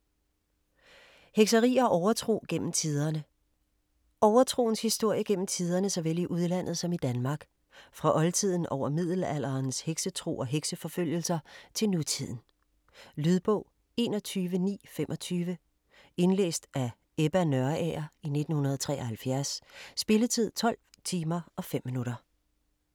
Hekseri og overtro gennem tiderne Overtroens historie gennem tiderne såvel i udlandet som i Danmark, fra oldtiden over middelalderens heksetro og hekseforfølgelser til nutiden. Lydbog 21925 Indlæst af Ebba Nørager, 1973. Spilletid: 12 timer, 5 minutter.